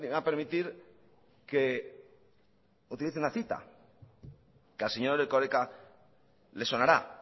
a permitir que utilice una cita que al señor erkoreka le sonará